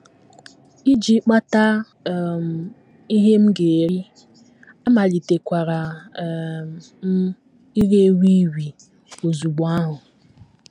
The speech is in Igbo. Iji kpata um ihe m ga - eri, amalitekwara um m ire wii wii ozugbo ahụ.